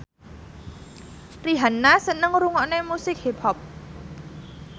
Rihanna seneng ngrungokne musik hip hop